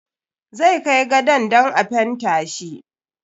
Zai kai gadon dan a fenta shi.